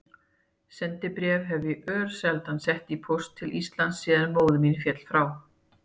Sendibréf hef ég örsjaldan sett í póst til Íslands síðan móðir mín féll frá.